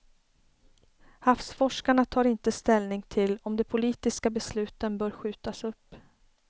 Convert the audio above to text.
Havsforskarna tar inte ställning till om de politiska besluten bör skjutas upp.